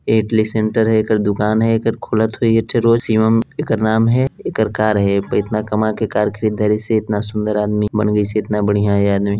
idli centre है एकर दुकान है एकर खोलत होइ एक ठॆ रोज शिवम एकर नाम है एकर कार है प इतना काम के कार खरीदारी से इतना सुंदर आदमी बन गिस इतना बढ़िया ये आदमी--